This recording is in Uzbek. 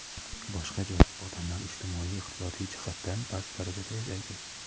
boshqa joyda odamlar ijtimoiy-iqtisodiy jihatdan past darajada yashaydi.